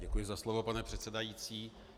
Děkuji za slovo, pane předsedající.